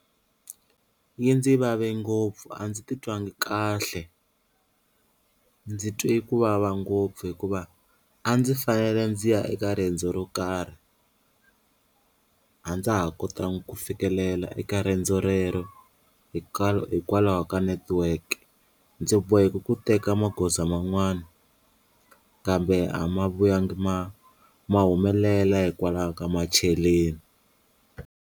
Yi ndzi vave ngopfu a ndzi titwangi kahle ndzi twe ku vava ngopfu hikuva a ndzi fanele ndzi ya eka riendzo ro karhi a ndza ha kotanga ku fikelela eka riendzo rero hikwalaho ka network ndzi boheka ku teka magoza man'wana kambe a ma vuyanga ma ma humelela hikwalaho ka macheleni.